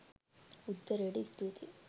උත්තරයට ස්තුතියි